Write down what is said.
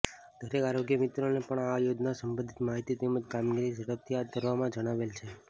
દરેક આરોગ્ય મિત્રોને પણ આ યોજનાને સબંધિત માહિતી તેમજ કામગીરી ઝડપથી હાથ ધરવા જણાવેલ છે